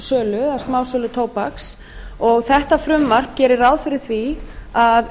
tóbakssölu eða smásölu tóbaks og þetta frumvarp gerir ráð fyrir því að